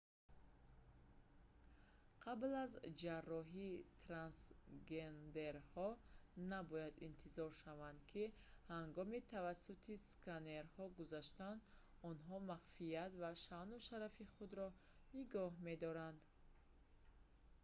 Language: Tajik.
қабл аз ҷарроҳӣ трансгендерҳо набояд интизор шаванд ки ҳангоми тавассути сканнерҳо гузаштан онҳо махфият ва шаъну шарафи худро нигоҳ медоранд